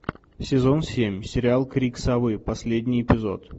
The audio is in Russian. сезон семь сериал крик совы последний эпизод